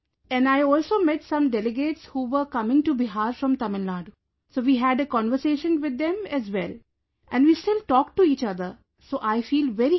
And I also met some delegates who were coming to Bihar from Tamil Nadu, so we had a conversation with them as well and we still talk to each other, so I feel very happy